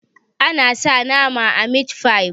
ana sa nama a mit fi